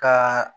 Ka